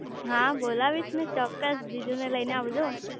હા બોલાવીશ ને ચોક્કસ જીજુ ને લઇ ને આવજો